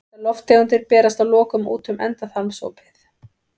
Þessar lofttegundir berast að lokum út um endaþarmsopið.